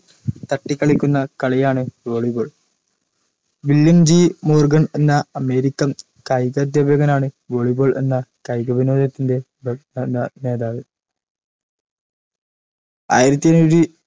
തട്ടിക്കളിക്കുന്ന കളിയാണ് volley ball William G Morgan എന്ന american കായികാധ്യാപകനാണ് volley ball എന്ന കായികവിനോദത്തിൻറെ പ്രസ്ഥാന നേതാവ് ആയിരത്തിഏഴ്